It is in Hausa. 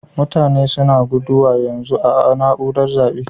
Mutane suna guduwa yanzun a'naúrar zabe.